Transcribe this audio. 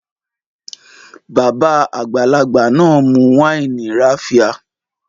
Babà àgbàlagbà náà mu wáìnì raffia